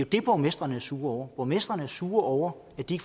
det borgmestrene er sure over borgmestrene er sure over at de